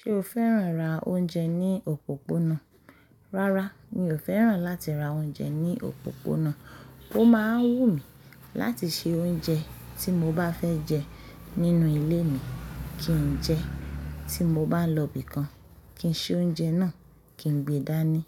Ṣé o fẹ́ràn ra oúnjẹ ní òpópónà? Rárá, mi ò fẹ́ràn láti ra oúnjẹ ní òpópónà. Ó máa ń wù mí láti se oúnjẹ tí mo bá fẹ́ jẹ nínú ilé mi kí n jẹ, tí mo bá lọ bí kan, kí n ṣe oúnjẹ náà kí n gbé dání